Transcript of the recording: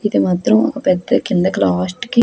ఇది మాత్రం పెద్ద కిందికి లాస్ట్ కి --